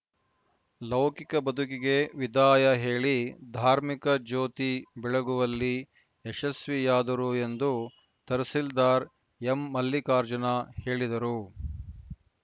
ಲೌಕಿಕ ಬದುಕಿಗೆ ವಿದಾಯ ಹೇಳಿ ಧಾರ್ಮಿಕ ಜ್ಯೋತಿ ಬೆಳಗುವಲ್ಲಿ ಯಶಸ್ವಿಯಾದರು ಎಂದು ತಹಸೀಲ್ದಾರ್‌ ಎಂಮಲ್ಲಿಕಾರ್ಜುನ ಹೇಳಿದರು